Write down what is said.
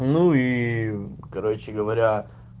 ну ии короче говоря